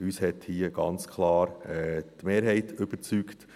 Uns hat hier ganz klar die Mehrheit überzeugt.